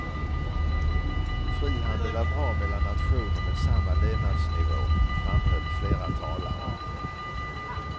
Frihandel är bra mellan nationer med samma levnadsnivå, framhöll flera talare.